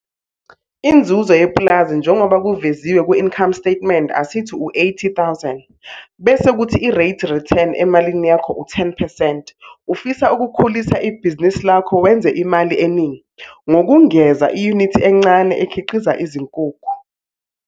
Inzuzo yepulazi njengoba kuveziwe ku-income statement asithi u-R80 000, bese kuthi i-rate return emalini yakho u-10 percent. Ufisa ukukhulisa ibhizinisi lakho wenza imali eningi, ngokungeza iyunithi encane ekhiqiza izinkukhu.